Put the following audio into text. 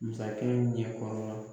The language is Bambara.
Masakɛ ɲɛkɔrɔ